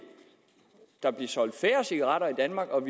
der blive solgt færre cigaretter i danmark og